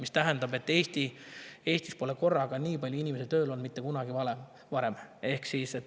See tähendab, et Eestis pole nii palju inimesi korraga tööl olnud mitte kunagi varem.